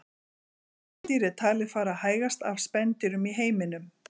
Letidýr er talið fara hægast af spendýrum í heiminum.